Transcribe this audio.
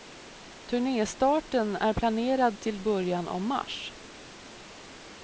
Turnéstarten är planerad till början av mars.